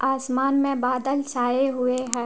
आसमान में बादल छाए हुए हैं।